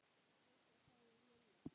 Fúsa! sagði Lilla.